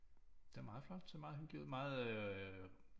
Det er meget flot ser meget hyggeligt ud meget øh